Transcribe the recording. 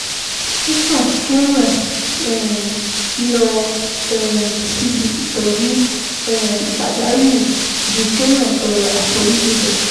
Ó sàn kéèyàn um lọ um síbi ìtọ́jú um pàjáwìrì ju kéèyàn tọrọ àforíjì lọ